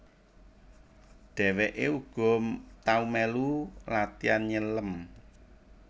Dheweke uga tau melu latian nyelem